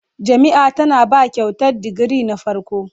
Jami'ia tana ba Kyautar digiri na farko